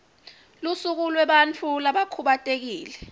lusuku lwebantfu labakhubatekile